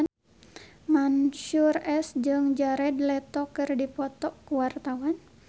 Mansyur S jeung Jared Leto keur dipoto ku wartawan